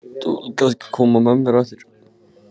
Þú vilt kannski koma með mér á eftir?